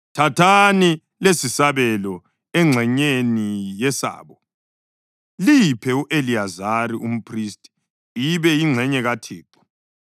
Thathani lesisabelo engxenyeni yesabo liyiphe u-Eliyazari umphristi ibe yingxenye kaThixo.